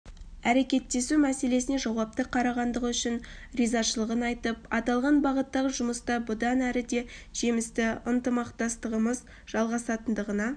әрекеттесу мәселесіне жауапты қарағандығы үшін ризашылығын айтып аталған бағыттағы жұмыста бұдан әріде жемісті ынтымақтастығымыз жалғасатындығына